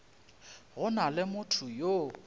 go na le motho yo